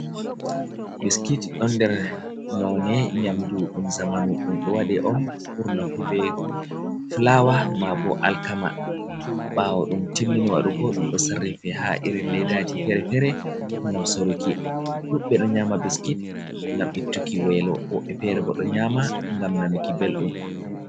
Biskit ɗon nder none nyamdu ɗum zamanu ɗum ɗo waɗe on ɓurna fu be fulawa ma bo alkama. ɓawo ɗum timmini waɗugo ɗum ɗo sarrife ha irin ledaji fere-fere, ngam saruki ɗuɓɓe ɗo nyama biskit ngam ittuki welo, woɓɓe fere bo ɗo nyama ngam nanuki belɗum.